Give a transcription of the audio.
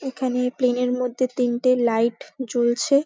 এখানে প্লেন -এর মধ্যে তিনটে লাইট জ্বলছে।